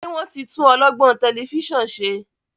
ṣe wón tí tún olọgbọn Tẹlifíṣàn ṣe?